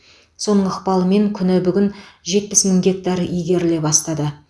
соның ықпалымен күні бүгін жетпіс мың гектар игеріле басталды